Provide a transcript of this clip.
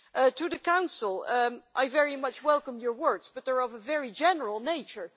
To the Council I very much welcome your words but they are of a very general nature.